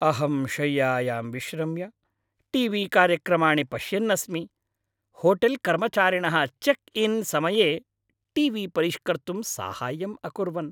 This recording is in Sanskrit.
अहं शय्यायां विश्रम्य टी वी कार्यक्रमाणि पश्यन्नस्मि होटेल्कर्मचारिणः चेक् इन् समये टी वी परिष्कर्तुं साहाय्यम् अकुर्वन्।